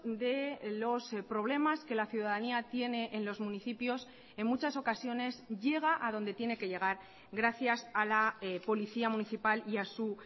de los problemas que la ciudadanía tiene en los municipios en muchas ocasiones llega a donde tiene que llegar gracias a la policía municipal y a su